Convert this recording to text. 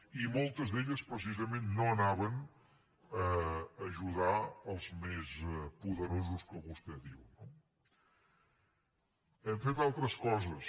i moltes d’elles precisament no anaven a ajudar els més poderosos que vostè diu no hem fet altres coses